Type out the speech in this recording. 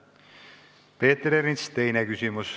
Peeter Ernits, teine küsimus.